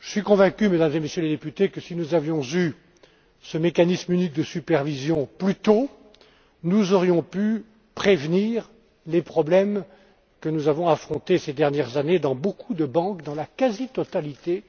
Je suis convaincu, Mesdames et Messieurs les députés, que si nous avions eu ce mécanisme unique de supervision plus tôt, nous aurions pu prévenir les problèmes auxquels nous avons été confrontés, ces dernières années, dans beaucoup de banques, dans la quasi totalité